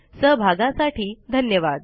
सहभागासाठी धन्यवाद